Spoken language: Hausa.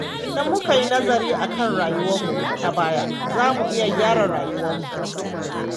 Idan muka yi nazari kan rayuwarmu ta baya, za mu iya gyara rayuwarmu.